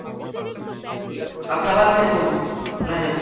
আপনি আবার send করুন message